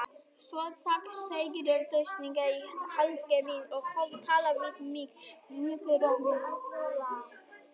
Svo stakk Ásgeir sprautunál í handlegg minn og hóf að tala við mig mjúkum rómi.